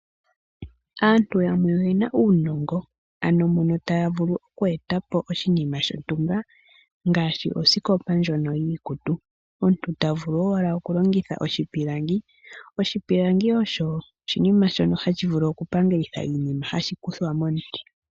Aantu yamwe oyena uunongo ano mono taa vulu oku eta po oshinima shontumba ngaashi osikopa ndjono yiikutu omuntu ta vulu owala okulongitha oshopilangi oshilangi osho oshinima shono hashi vulu okuninga oshinima shontumba ngaashi osikopa ndjono yiikutu omuntu ta vulu owala okukutha oshipilangi ,oshipilangi osho oshiniam shono hashi vulu okupangelitha iinimaano.